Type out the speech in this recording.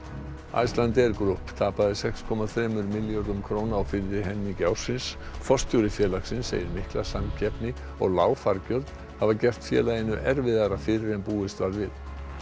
Icelandair Group tapaði sex komma þremur milljörðum króna á fyrri helmingi ársins forstjóri félagsins segir mikla samkeppni og lág fargjöld hafa gert félaginu erfiðara fyrir en búist var við